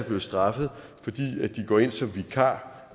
blive straffet fordi de går ind som vikarer